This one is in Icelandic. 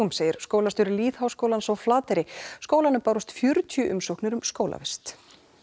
segir skólastjóri lýðháskólans á Flateyri skólanum bárust fjörutíu umsóknir um skólavist